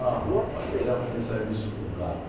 Ah, rapaz, aí arrumei serviço com gato.